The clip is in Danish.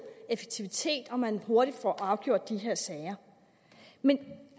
effektivitet og at man hurtigt får afgjort de her sager men